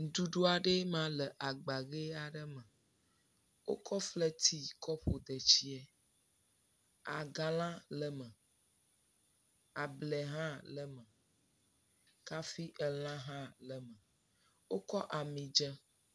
Nuɖuɖu aɖe ema le agba vi aɖe me. wokɔ fleti kɔ ƒo detsiɛ. Agalã le eme, ablɛ hã le me, kafi elã hã le me. Wokɔ amidzẽ.